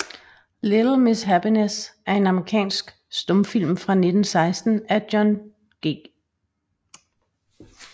Little Miss Happiness er en amerikansk stumfilm fra 1916 af John G